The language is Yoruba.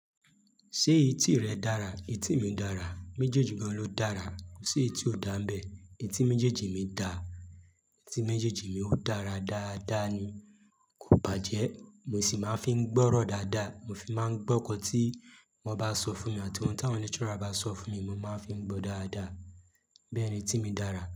Ṣé etí rẹ dára? Etí mi dára. Méjèèjì gan ló dára. Kò sí eyi tí ò dáa nbẹ. Etí méjèèjì mi dà. Etí méjèèjì mi ó dára dáadáa ni. Kò bàjẹ́. Mo sì máa ń fi ń gbọ́rọ̀ dáadáa. Mo fi máa ń gbọ́ nkán tí wọ́n bá sọ fún mi àti ohun tí àwọn lecturer bá sọ fún mi, mo máa fi n gbọ́ dáadáa. Bẹ́ẹ̀ni, etí mi dára.